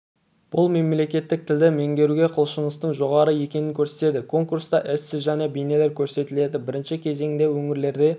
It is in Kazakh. бұл мемлекеттік тілді меңгеруге құлшыныстың жоғары екенін көрсетеді конкурста эссе және бейнелер көрсетіледі бірінші кезеңде өңірлерде